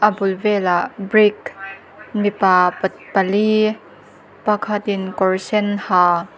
bul velah brick mipa pat pali pakhatin kawr sen ha --